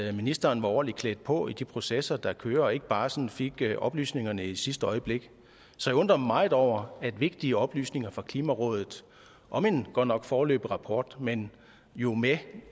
at ministeren var ordentligt klædt på til de processer der kører og ikke bare sådan fik oplysningerne i sidste øjeblik så jeg undrer mig meget over at vigtige oplysninger fra klimarådet om en godt nok foreløbig rapport men jo med